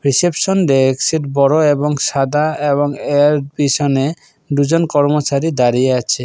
Reception ডেক্স seat বড়ো এবং সাদা এবং এর পিছনে দুজন কর্মচারী দাঁড়িয়ে আছে।